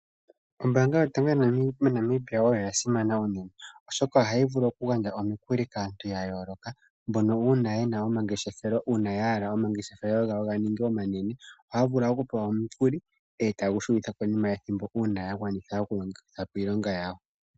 Ombaanga yotango moNamibia oya simana unene, oshoka ohayi vulu okugandja omikuli kaantu ya yooloka mbono uuna ye na omangeshefelo uuna ya hala omangeshefelo gawo ga ninge omanene. Ohaya vulu okupewa omukuli e taye gu shunitha konima yethimbo uuna ya manitha okugwanitha po iilonga yawo.